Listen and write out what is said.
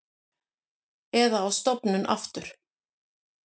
Eða á stofnun aftur.